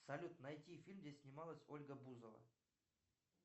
салют найти фильм где снималась ольга бузова